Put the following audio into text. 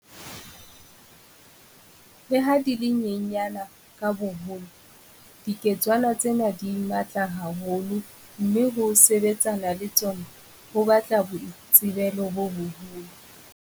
Le ha di le nyenyane ka boholo, dike tswana tsena di matla ha holo mme ho sebetsana le tsona ho batla boitsebelo bo boholo.